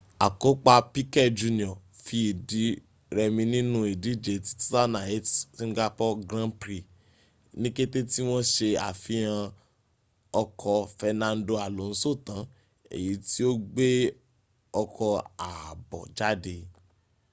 akopa piquet jr fi idi remi ninu idije ti 2008 singapore grand prix ni kete ti won se afihan oko fernando alonso tan eyi ti o gbe oko aabo jade